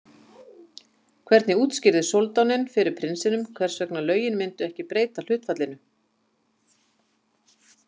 Hvernig útskýrði soldáninn fyrir prinsinum hvers vegna lögin myndu ekki breyta hlutfallinu?